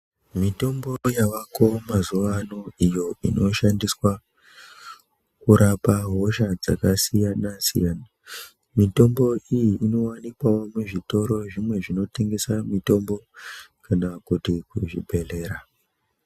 Mitombo yavako mazuvaano iyo inoshandiswa kurapa hosha dzakasiyana-siyana, mitombo iyi inowanikwawo muzvitoro zvimwe zvinotengesa mitombo kana kuti kuzvibhedhlera.